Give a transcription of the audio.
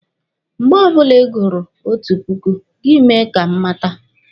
Mgbe ọbụla Ị gururu otu puku, gị mee ka m mata.